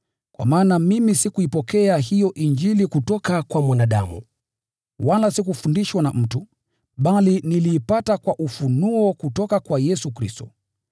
Kwa maana mimi sikuipokea hiyo Injili kutoka kwa mwanadamu, wala sikufundishwa na mtu, bali niliipata kwa ufunuo kutoka kwa Yesu Kristo.